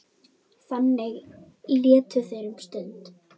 Þannig létu þeir um stund.